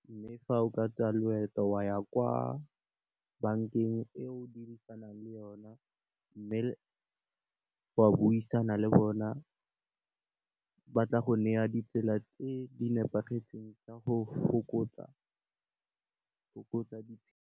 Mme, fa o ka tsaya loeto wa ya kwa bankeng e o dirisanang le yona mme, wa buisana le bona ba tla go neya ditsela tse di nepagetseng tsa go fokotsa .